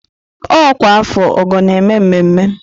Ọkwa afọ ọ́gọ̀ na-eme mmemme.